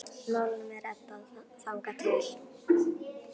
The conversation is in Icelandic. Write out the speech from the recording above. Málunum er reddað þangað til.